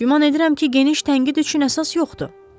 Güman edirəm ki, geniş tənqid üçün əsas yoxdur."